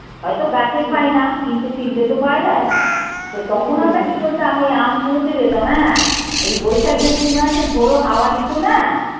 হয়তো গাছের পাই না কিন্তু কিনতে তো পাওয়া যাই তখন আমরা কি করতাম ওই আম কুড়োতে যেতাম হ্যাঁ এই বৈশাখ জয়ষ্টি মাসে ঝড়ো হাওয়া দিতো না